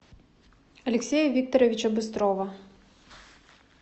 алексея викторовича быстрова